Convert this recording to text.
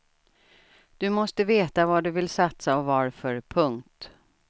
Du måste veta vad du vill satsa och varför. punkt